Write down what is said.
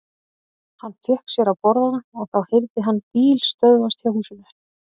Hann fékk sér að borða og þá heyrði hann bíl stöðvast hjá húsinu.